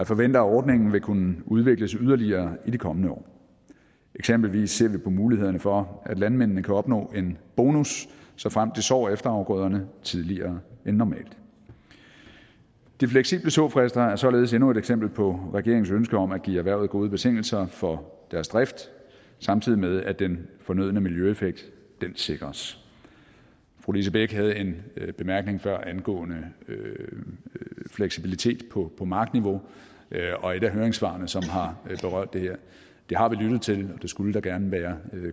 forventer at ordningen vil kunne udvikles yderligere i de kommende år eksempelvis ser vi på mulighederne for at landmændene kan opnå en bonus såfremt de sår efterafgrøderne tidligere end normalt de fleksible såfrister er således endnu et eksempel på regeringens ønske om at give erhvervet gode betingelser for deres drift samtidig med at den fornødne miljøeffekt sikres fru lise bech havde en bemærkning før angående fleksibilitet på markniveau og et af høringssvarene som har berørt det her det har vi lyttet til det skulle der gerne være